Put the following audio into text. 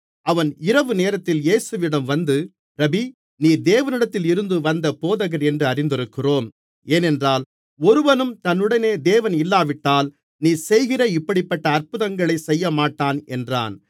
அவன் இரவு நேரத்தில் இயேசுவினிடம் வந்து ரபீ நீர் தேவனிடத்தில் இருந்து வந்த போதகர் என்று அறிந்திருக்கிறோம் ஏனென்றால் ஒருவனும் தன்னுடனே தேவன் இல்லாவிட்டால் நீர் செய்கிற இப்படிப்பட்ட அற்புதங்களைச் செய்யமாட்டான் என்றான்